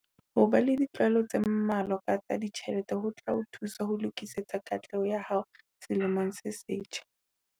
Ho ba le ditlwaelo tse mmalwa ka tsa ditjhelete ho tla o thusa ho lokisetsa katleho ya hao selemong se setjha.